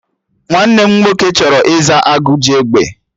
Nwanne m nwoke chọrọ ịza 'Agụ ji egbe'